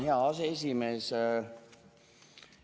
Hea aseesimees!